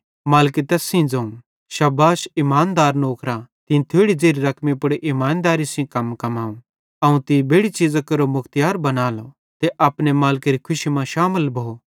मालिके तैस सेइं ज़ोवं शाबाश इमानदार नौकरा तीं थोड़ी ज़ेरि रकमी पुड़ इमानदेरी सेइं कम कमाव अवं तीं बेड़ि चीज़ां केरो मुख्तियार बनालो ते अपने मालिकेरी खुशी मां शामिल भो